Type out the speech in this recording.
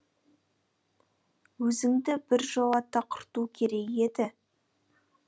өзіңді біржолата құрту керек еді